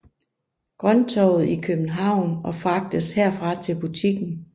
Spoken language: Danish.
Grønttorvet i København og fragtes herfra til butikken